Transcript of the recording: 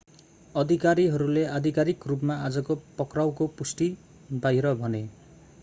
अधिकारीहरूले आधिकारिक रूपमा आजको पक्राउको पुष्टि बाहिर भने